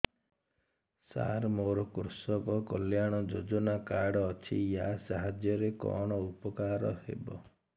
ସାର ମୋର କୃଷକ କଲ୍ୟାଣ ଯୋଜନା କାର୍ଡ ଅଛି ୟା ସାହାଯ୍ୟ ରେ କଣ ଉପକାର ହେବ